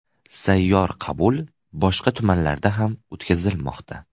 Sayyor qabul boshqa tumanlarda ham o‘tkazilmoqda.